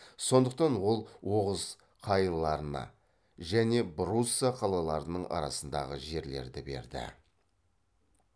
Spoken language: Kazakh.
сондықтан ол оғыз қайыларына және брусса қалаларының арасындағы жерлерді берді